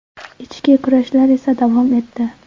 Ichki kurashlar esa davom etdi.